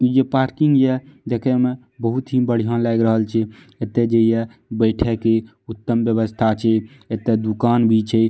इ जे पार्किंग या देखे में बहुत ही बढ़िया लाग रहल छै एते जे या बैठे के उत्तम व्यवस्था छै एते दुकान भी छै।